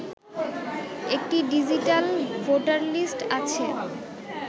একটি digital voter list আছে